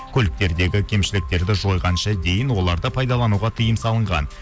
көліктердегі кемшіліктерді жойғанша дейін оларды пайдалануға тиым салынған